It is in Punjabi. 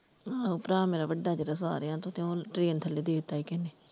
ਆਹੋ ਭਰਾ ਮੇਰਾ ਵਡਾ ਜਿਹੜਾ ਸਾਰਿਆਂ ਤੋਂ ਤੇ ਉਹ train ਥੱਲੇ ਦੇ ਦਿੱਤਾ ਸੀ ਕਿਸੇ ਨੇ।